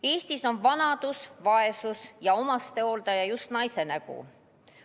Eestis on vanadus, vaesus ja omastehooldusjust naise nägu.